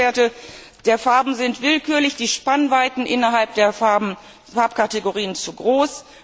Die Schwellenwerte der Farben sind willkürlich, die Spannweiten innerhalb der Farbkategorien zu groß.